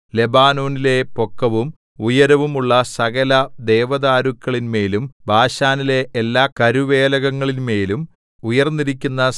ലെബാനോനിലെ പൊക്കവും ഉയരവും ഉള്ള സകല ദേവദാരുക്കളിന്മേലും ബാശാനിലെ എല്ലാ കരുവേലകങ്ങളിന്മേലും ഉയർന്നിരിക്കുന്ന